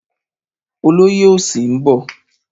Olóyè òsì ń bọ̀.